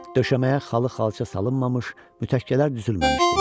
Döşəməyə xalı, xalça salınmamış, mütəkkələr düzülməmişdi.